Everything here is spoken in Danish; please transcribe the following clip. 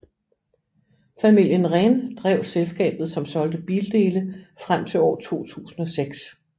Familien Rehn drev selskabet som solgte bildele frem til år 2006